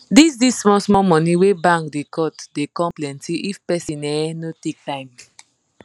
dis dis small small money wey bank da cut da come plenty if person um no take time